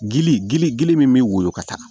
Gili gili gili min be woyo ka taa